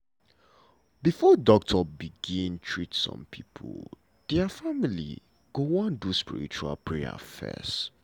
before doctor begin treat some pipo dia family go wan do spiritual prayer fess.